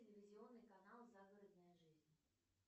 телевизионный канал загородная жизнь